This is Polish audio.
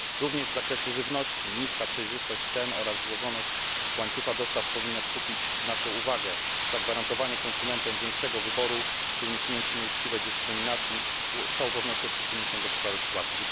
Również w zakresie żywności niska przejrzystość cen oraz złożoność łańcucha dostaw powinna skupić naszą uwagę. Zagwarantowanie konsumentom większego wyboru czy uniknięcie nieuczciwej dyskryminacji z całą pewnością przyczyni się do poprawy sytuacji.